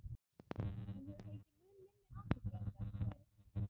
hún hefur fengið mun minni athygli en vert væri